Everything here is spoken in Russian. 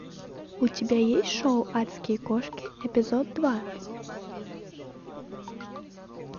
у тебя есть шоу адские кошки эпизод два